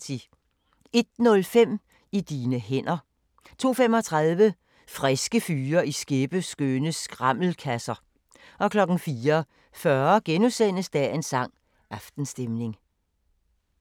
01:05: I dine hænder 02:35: Friske fyre i skæppeskønne skrammelkasser 04:40: Dagens sang: Aftenstemning *